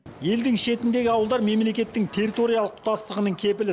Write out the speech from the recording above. елдің шетіндегі ауылдар мемлекеттің территориялық тұтастығының кепілі